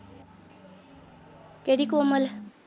ਕਿਹੜੀ ਕੋਮਲ।